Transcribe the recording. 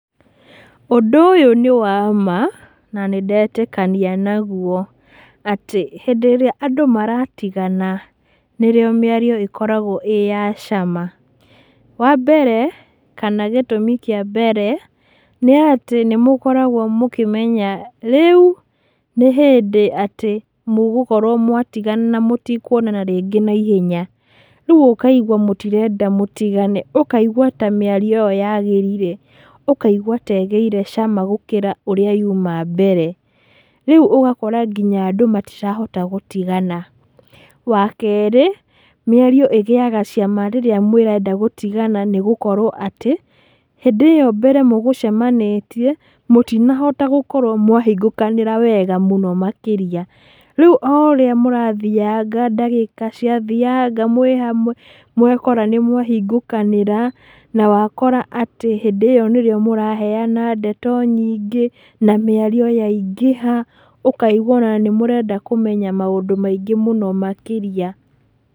Ũndũ ũyũ nĩ wa ma, na nĩ ndetĩkania naguo, atĩ hĩndĩ ĩrĩa andũ maratigana, nĩrĩo mĩario ĩkoragwo ĩya cama. Wa mbere kana gĩtũmi kĩambere, nĩ atĩ nĩmũkoragwo mũkĩmenya rĩu nĩ hĩndĩ atĩ, mũgũkorwo mũgĩtigana na mũtikuonana rĩngĩ naihenya. Rĩu ũkaigua mũtirenda mũtigane, ũkaigua ta mĩario ĩyo yagĩrire, ũkaigua ta mĩario ĩyo ĩgĩire cama gũkĩra ũrĩa yuma mbere, rĩu ũgakora andũ ona matirahota gũtigana. Wa kerĩ, mĩario ĩgĩaga cama rĩrĩa mũrenda gũtigana nĩgũkorwo atĩ, hĩndĩ ĩyo mbere mũgũcemanĩtie mũtinahota gũkorwo mwahingũkanĩra wega mũno makĩria, rĩũ, oũrĩa mũrathianga ndagĩka ciathiaga mwĩhamwe, wakora nĩ mwahingũkanĩra, nawakora atĩ hĩndĩ ĩyo nĩrwo mũraheyana ndeto nyingĩ, na mĩario yaingĩha, ũkaigua ona nĩmũrenda kũmenya maũndũ maingĩ mũno makĩrĩa.